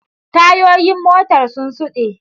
Tayoyin motar sun suɗa.